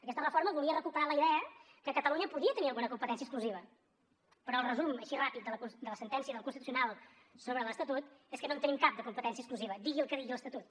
aquesta reforma volia recuperar la idea que catalunya podia tenir alguna competència exclusiva però el resum així ràpid de la sentència del constitucional sobre l’estatut és que no en tenim cap de competència exclusiva digui el que digui l’estatut